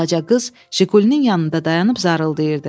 Balaca qız Jigulinin yanında dayanıb zarıldayırdı.